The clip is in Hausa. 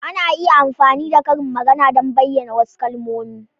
Ana iya amfani da karin magana don bayyana wasu kalmomi.